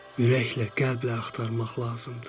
Ürəklə, qəlblə axtarmaq lazımdır."